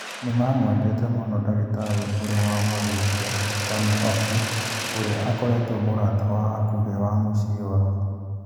Nĩmamwendete mũno ndagitari ũrĩa wamathĩnjire, Toni Hockey, ũria akoretwo mũrata wa hakũhĩ wa mũciĩ wao.